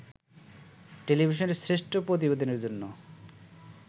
টেলিভিশনে শ্রেষ্ঠ প্রতিবেদনের জন্য